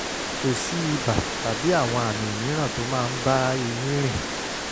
kò sí ibà tàbí àwọn àmì mìíràn tó máa ń bá èyí rìn